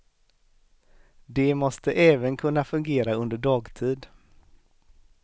De måste även kunna fungera under dagtid.